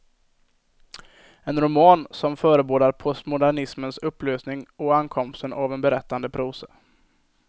En roman som förebådar postmodernismens upplösning och ankomsten av en berättande prosa.